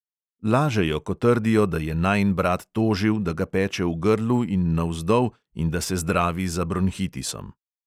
Lažejo, ko trdijo, da je najin brat tožil, da ga peče v grlu in navzdol in da se zdravi za bronhitisom.